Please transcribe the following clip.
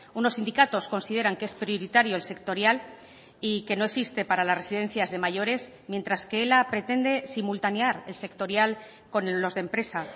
unos sindicatos consideran que es prioritario el sectorial y que no existe para las residencias de mayores mientras que ela pretende simultanear el sectorial con los de empresa